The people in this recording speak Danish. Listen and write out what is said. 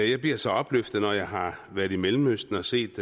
jeg bliver så opløftet når jeg har været i mellemøsten og set